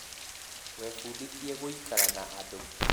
Webundithie gũikara na andu